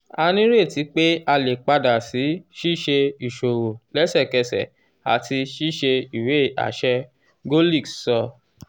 a nireti pe a le pada si ṣiṣe iṣowo lẹsẹkẹsẹ ati ṣiṣe iwe aṣẹ golix sọ.